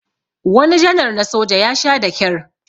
wani janar na soja ya Sha da kyar